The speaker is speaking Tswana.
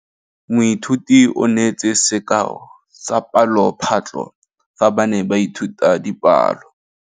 Moithuti o neetse sekaô sa palophatlo fa ba ne ba ithuta dipalo.